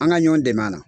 An ka ɲɔn dɛmɛ a la